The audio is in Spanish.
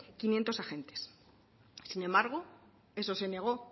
quinientos agentes sin embargo eso se negó